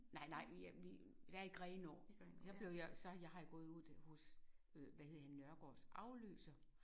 Nej nej vi er vi der er i Grenaa. Så blev jeg så har jeg gået ude hos øh hvad hedder han Nørgaards afløser